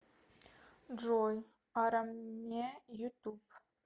джой араме ютуб